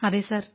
അതെ സർ